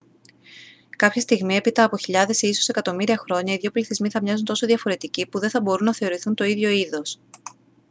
κάποια στιγμή έπειτα από χιλιάδες ή ίσως εκατομμύρια χρόνια οι δύο πληθυσμοί θα μοιάζουν τόσο διαφορετικοί που δεν θα μπορούν να θεωρηθούν το ίδιο είδος